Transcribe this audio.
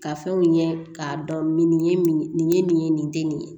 Ka fɛnw ɲɛ k'a dɔn nin ye nin nin ye nin ye nin tɛ nin ye